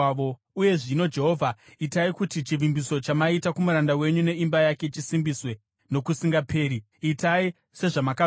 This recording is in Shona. “Uye zvino, Jehovha, itai kuti chivimbiso chamaita kumuranda wenyu neimba yake chisimbiswe nokusingaperi. Itai sezvamakavimbisa,